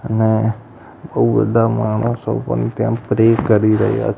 અને બૌ બધા માણસો પણ ત્યાં પ્રે કરી રહ્યા--